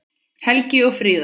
Helgi og Fríða.